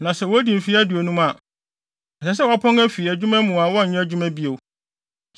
na sɛ wodi mfe aduonum a, ɛsɛ sɛ wɔapɔn fi adwuma mu a wɔnnyɛ adwuma bio.